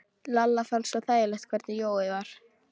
Lalla fannst svo þægilegt hvernig Jói var.